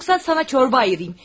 Paran yoxsa sənə şorba ayırım.